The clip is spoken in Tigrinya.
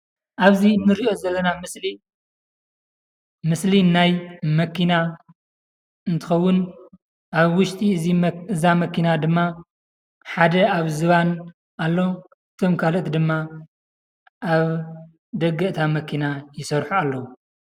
ኣብዚ ንሪኦ ዘለና ምስሊ ምስሊ ናይ መኪና እንትኸውን ኣብ ውሽጢ እዚ እዛ መኪና ድማ ሓደ ኣብ ዝባን ኣሎ፤ እቶም ካልኦት ድማ ኣብ ደገ እታ መኪና ይሰርሑ ኣለዉ፡፡